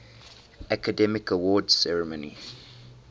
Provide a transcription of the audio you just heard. academy awards ceremony